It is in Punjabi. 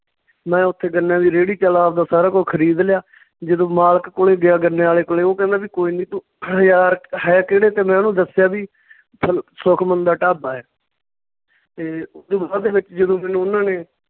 ਮੈਂ ਉੱਥੇ ਗੰਨਿਆਂ ਦੀ ਰੇਹੜੀ ਚੱਲ ਆਵਦਾ ਸਾਰਾ ਕੁੱਝ ਖਰੀਦ ਲਿਆ ਜਦੋਂ ਮਾਲਕ ਕੋਲੇ ਗਿਆ ਗੰਨੇ ਵਾਲੇ ਕੋਲੇ, ਉਹ ਕਹਿੰਦਾ ਵੀ ਕੋਈ ਨੀ ਤੂੰ ਹਜਾਰ ਕੁ ਹੈ ਕਿਹੜੇ ਤੇ ਮੈਂ ਉਹਨੂੰ ਦੱਸਿਆ ਵੀ ਸੁਖਮਣ ਦਾ ਢਾਬਾ ਏ ਤੇ ਓਦੂ ਬਾਅਦ ਦੇ ਵਿੱਚ ਜਦੋਂ ਮੈਨੂੰ ਉਨ੍ਹਾਂ ਨੇ